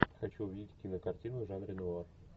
хочу увидеть кинокартину в жанре нуар